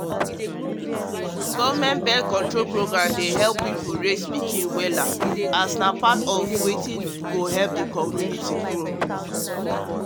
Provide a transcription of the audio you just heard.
government birth-control program dey help pipo raise pikin wella as na part of um wetin go help di country grow um